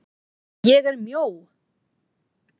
ÉG ER MJÓ.